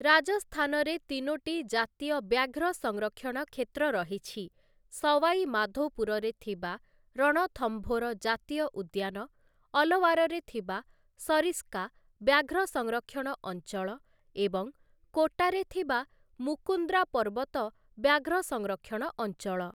ରାଜସ୍ଥାନରେ ତିନୋଟି ଜାତୀୟ ବ୍ୟାଘ୍ର ସଂରକ୍ଷଣ କ୍ଷେତ୍ର ରହିଛି ସୱାଇ ମାଧୋପୁରରେ ଥିବା ରଣଥମ୍ଭୋର ଜାତୀୟ ଉଦ୍ୟାନ, ଅଲୱାରରେ ଥିବା ସରିସ୍କା ବ୍ୟାଘ୍ର ସଂରକ୍ଷଣ ଅଞ୍ଚଳ ଏବଂ କୋଟାରେ ଥିବା ମୁକୁନ୍ଦ୍ରା ପର୍ବତ ବ୍ୟାଘ୍ର ସଂରକ୍ଷଣ ଅଞ୍ଚଳ ।